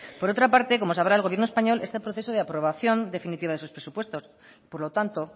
por otra parte como sabrá el gobierno español está en proceso de aprobación definitiva de sus presupuestos por lo tanto